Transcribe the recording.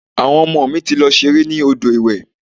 Àwọn ọmọ mi ti lọ ṣeré ní odò ìwẹ̀.